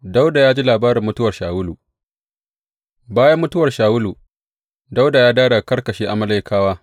Dawuda ya ji labarin mutuwar Shawulu Bayan mutuwar Shawulu, Dawuda ya dawo daga karkashe Amalekawa.